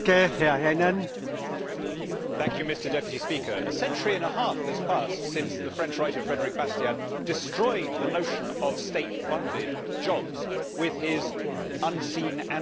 Mr President, a century and a half has passed since the French writer Frédéric Bastiat destroyed the notion of state funded jobs with his unseen and seen costs thought experiment.